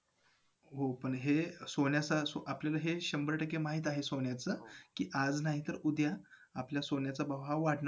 Right बोलतात तसं ती ride करायची bike वर